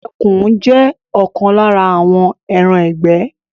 Ẹkùn jé òkan lára àwọn ẹran igbẹ